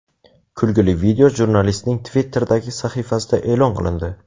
Kulgili video jurnalistning Twitter’dagi sahifasida e’lon qilindi .